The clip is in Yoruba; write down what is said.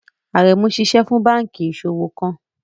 Aremu ṣiṣẹ fun banki iṣowo kan